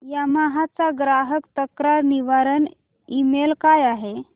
Yamaha चा ग्राहक तक्रार निवारण ईमेल काय आहे